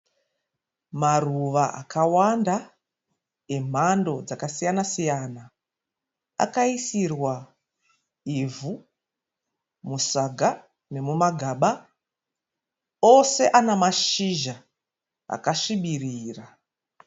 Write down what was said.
Maruva akawanda emhando dzakasiyana siyana. Akaisirwa ivhu musaga nemumagaba. Ose ana mashizha akasvibirira.